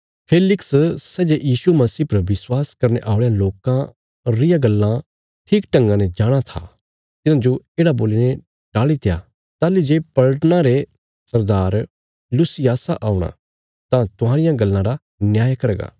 फेलिक्स सै जे यीशु मसीह पर विश्वास करने औल़यां लोकां रियां गल्लां ठीकढंगा ने जाणाँ था तिन्हांजो येढ़ा बोलीने टाल़ीत्या ताहली जे पलटना रे सरदार लूसियासा औणा तां तुहांरियां गल्लां रा न्याय करगा